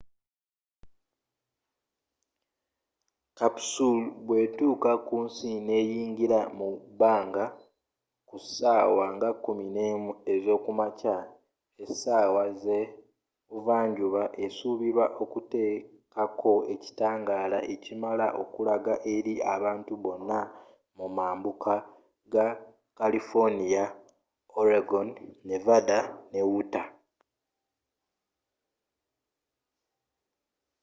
capsule bwe tuuka kunsi neyingira mu bbanga ku sawa nga 11 ezokumakya esawa ze buva njuba esubirwa okutekako ekitangaala ekimala okulaga eri abantu bonna mu mambuuka ga kalifoniya oregon nevanda ne utah